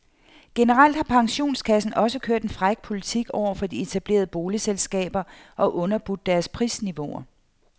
Generelt har pensionskassen også kørt en fræk politik over for de etablerede boligselskaber og underbudt deres prisniveauer.